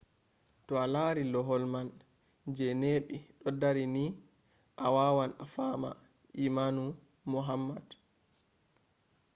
to a lari lohol man je neɓi ɗo dari ni a wawan a fama imanu muhammad